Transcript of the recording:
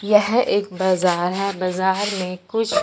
यह एक बजार है बजार में कुछ--